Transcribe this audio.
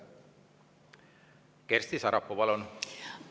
Kersti Sarapuu, palun!